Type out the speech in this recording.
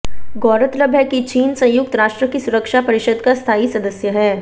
गौरतलब है कि चीन संयुक्त राष्ट्र की सुरक्षा परिषद का स्थायी सदस्य है